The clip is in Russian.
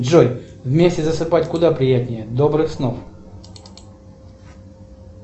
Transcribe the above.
джой вместе засыпать куда приятнее добрых снов